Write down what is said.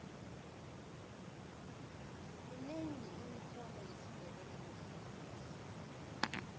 minengi imitlolo yesindebele namhlangesi